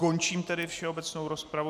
Končím tedy všeobecnou rozpravu.